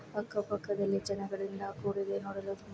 ಅಕ್ಕ ಪಕ್ಕದಲ್ಲಿ ಜನಗಳಿಂದ ಕೂಡಿದೆ ನೋಡಲು ತುಂಬಾ --